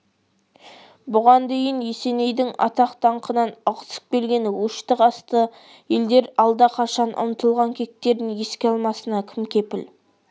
бұған дейін есенейдің атақ-даңқынан ығысып келген өшті-қасты елдер алдақашан ұмытылған кектерін еске алмасына кім кепіл